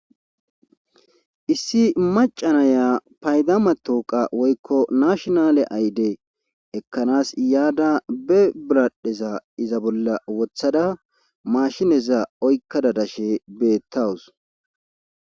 Issi macanaya paydama tooqa woykko nashinale ayde ekkanaas yaada be biradheza iza bolla wothada maashineza oykka dadashe beettawus.